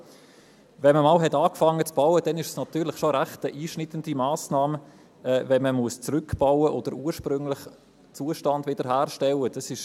Hat man mit dem Bauen einmal angefangen, ist es natürlich schon eine recht einschneidende Massnahme, wenn man zurückbauen oder den ursprünglichen Zustand wiederherstellen muss.